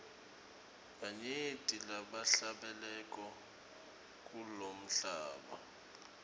banyenti labahlabelako kulomhlaba